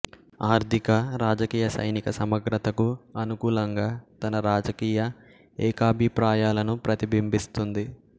ఆర్థిక రాజకీయ సైనిక సమగ్రతకు అనుకూలంగా తన రాజకీయ ఏకాభిప్రాయాలను ప్రతిబింబిస్తుంది